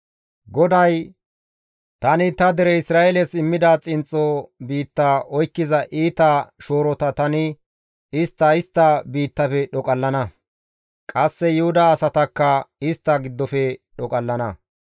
GODAY, «Tani ta dere Isra7eeles immida xinxxo biitta oykkiza iita shoorota tani istta istta biittafe dhoqallana. Qasse Yuhuda asatakka istta giddofe dhoqallana.